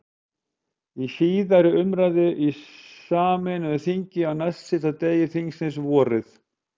Í síðari umræðu í sameinu þingi, á næstsíðasta degi þingsins, vorið